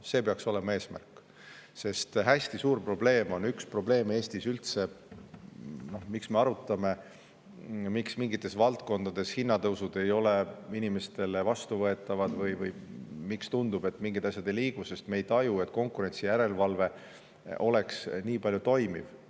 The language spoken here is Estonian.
Sest üks hästi suur probleem Eestis üldse on see, et miks me arutame seda, miks mingites valdkondades ei ole hinnatõusud inimestele vastuvõetavad või miks meile tundub, et mingid asjad ei liigu: sest me ei taju, et konkurentsijärelevalve oleks nii toimiv.